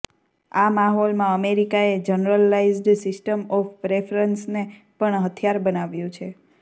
આ માહોલમાં અમેરિકાએ જનરલાઈઝ્ડ સિસ્ટમ ઓફ પ્રેફરન્સને પણ હથિયાર બનાવ્યું છે